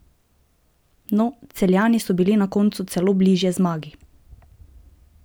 No, Celjani so bili na koncu celo bližje zmagi!